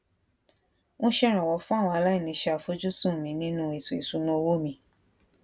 ń ṣèrànwó fún àwọn aláìní ṣe àfojúsùn mi nínú ètò ìṣúnná owó mi